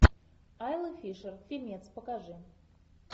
айла фишер фильмец покажи